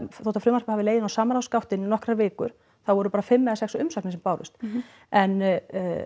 þótt að frumvarpið hafi legið inni á samráðsgáttinni í nokkrar vikur þá voru bara fimm eða sex umsagnir sem bárust en